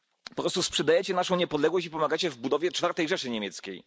Po prostu sprzedajecie naszą niepodległość i pomagacie w budowie Czwartej Rzeszy Niemieckiej.